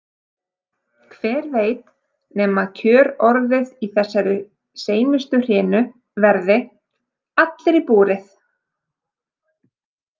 Hver veit nema kjörorðið í þessari seinustu hrinu verði: Allir í búrið?